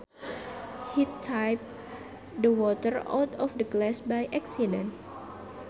He tipped the water out of the glass by accident